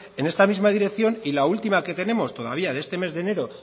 en esta misma dirección y la última que tenemos todavía de este mes de enero